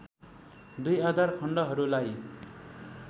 दुई आधार खण्डहरूला‌ई